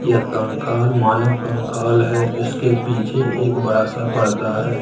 यह कंकाल मानव कंकाल है इसके पीछे एक बड़ा सा पडदा है।